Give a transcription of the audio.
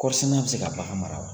Kɔɔrisɛnɛna bɛ se ka bagan mara wa?